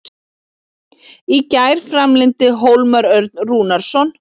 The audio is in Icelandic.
Í gær framlengdi Hólmar Örn Rúnarsson.